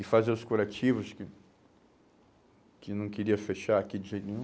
E fazer os curativos, que não queria fechar aqui de jeito nenhum.